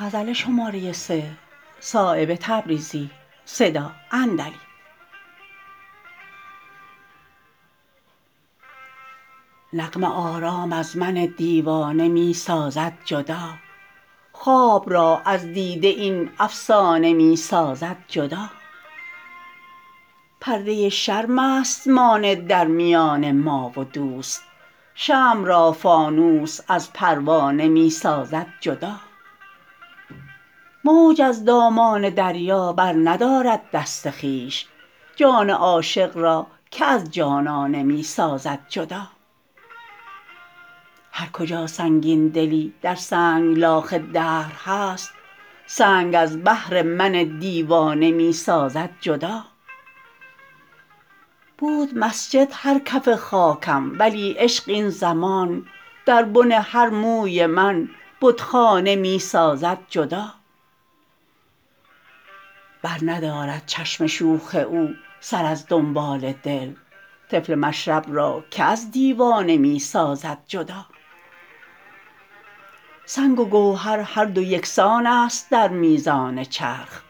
نغمه آرام از من دیوانه می سازد جدا خواب را از دیده این افسانه می سازد جدا پرده شرم است مانع در میان ما و دوست شمع را فانوس از پروانه می سازد جدا موج از دامان دریا برندارد دست خویش جان عاشق را که از جانانه می سازد جدا هرکجا سنگین دلی در سنگلاخ دهر هست سنگ از بهر من دیوانه می سازد جدا بود مسجد هر کف خاکم ولی عشق این زمان در بن هر موی من بتخانه می سازد جدا برندارد چشم شوخ او سر از دنبال دل طفل مشرب را که از دیوانه می سازد جدا سنگ و گوهر هر دو یکسان است در میزان چرخ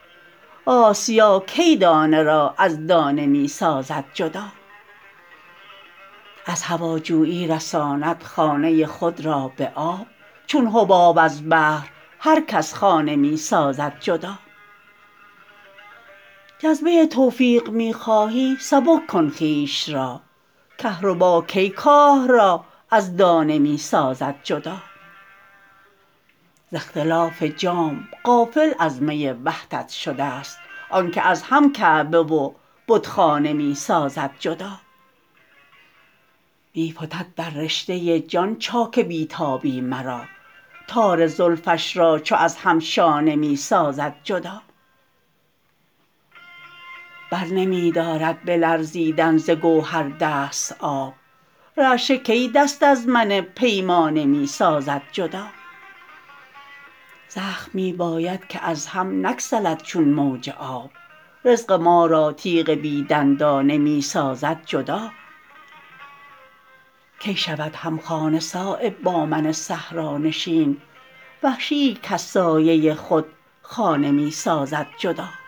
آسیا کی دانه را از دانه می سازد جدا از هواجویی رساند خانه خود را به آب چون حباب از بحر هر کس خانه می سازد جدا جذبه توفیق می خواهی سبک کن خویش را کهربا کی کاه را از دانه می سازد جدا ز اختلاف جام غافل از می وحدت شده ست آن که از هم کعبه و بتخانه می سازد جدا می فتد در رشته جان چاک بی تابی مرا تار زلفش را چو از هم شانه می سازد جدا برنمی دارد به لرزیدن ز گوهر دست آب رعشه کی دست من از پیمانه می سازد جدا زخم می باید که از هم نگسلد چون موج آب رزق ما را تیغ بی دندانه می سازد جدا کی شود همخانه صایب با من صحرانشین وحشی ای کز سایه خود خانه می سازد جدا